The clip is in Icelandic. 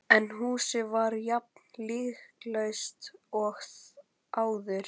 En húsið var jafn lyktarlaust og áður.